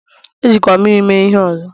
Ejikwala mmiri mee ihe ọzọ!